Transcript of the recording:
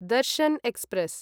Darshan express